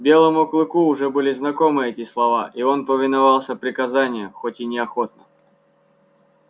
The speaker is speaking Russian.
белому клыку уже были знакомы эти слова и он повиновался приказанию хоть и неохотно